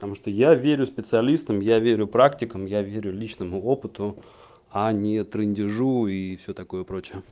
потому что я верю специалистам я верю практикам я верю личному опыту а не трындежу и все такое прочее